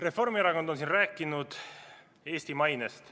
Reformierakond on siin rääkinud Eesti mainest.